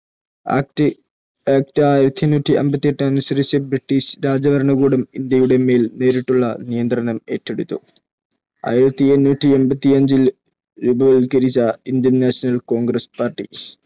British രാജഭരണകൂടം India യുടെ മേൽ നേരിട്ടുള്ള നിയന്ത്രണം ഏറ്റെടുത്തു. ആയിരത്തി എണ്ണൂറ്റി എൺപത്തി അഞ്ചിൽ -ൽ രൂപവത്കരിച്ച ഇന്ത്യൻ National Congress Party,